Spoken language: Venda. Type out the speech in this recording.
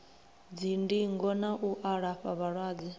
dzindingo na u alafha vhalwadze